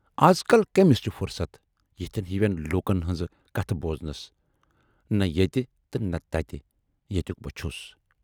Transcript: اَز کل کٔمِس چھِ فرصتھ یِتھٮ۪ن ہِوِٮ۪ن لوٗکن ہٕنزٕ کتھٕ بوزنس، نہَ ییتہِ تہٕ نہٕ تتہِ ییتٮُ۪ک بہٕ چھُس